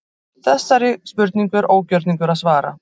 Þessari spurningu er ógjörningur að svara.